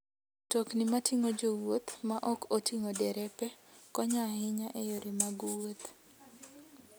Mtokni mating'o jowuoth ma ok oting'o derepe, konyo ahinya e yore mag wuoth.